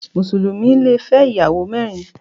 Mùsùlùmí le fẹ́ ìyàwó mẹ́rin.